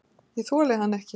Ég þoli hann ekki.